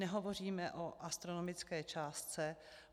Nehovoříme o astronomické částce.